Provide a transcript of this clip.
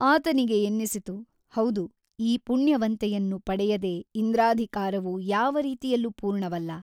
ಆತನಿಗೆ ಎನ್ನಿಸಿತು ಹೌದು ಈ ಪುಣ್ಯವಂತೆಯನ್ನು ಪಡೆಯದೆ ಇಂದ್ರಾಧಿಕಾರವು ಯಾವ ರೀತಿಯಲ್ಲೂ ಪೂರ್ಣವಲ್ಲ.